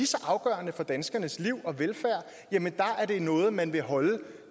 så afgørende for danskernes liv og velfærd er det noget man vil holde